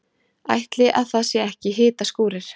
Ætli að það séu ekki hitaskúrir.